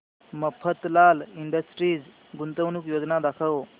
Mafatlal industries गुंतवणूक योजना दाखव